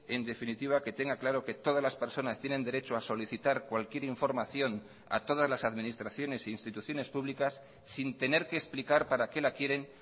en definitiva que tenga claro que todas las personas tienen derecho a solicitar cualquier información a todas las administraciones e instituciones públicas sin tener que explicar para qué la quieren